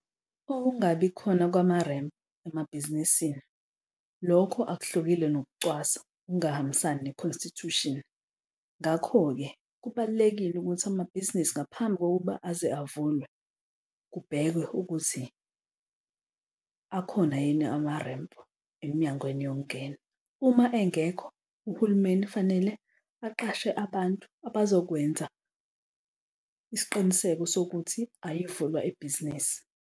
Kokungabi khona kwama-ramp emabhizinisini, lokho akuhlukile nokucwasa okungahambisani ne-constitution. Ngakho-ke kubalulekile ukuthi amabhizinisi ngaphambi kokuba aze avulwe kubhekwe ukuthi akhona yini ama-ramp emnyangweni yokungena. Uma engekho uhulumeni fanele aqashe abantu abazokwenza isiqiniseko sokuthi ayivulwa ibhizinisi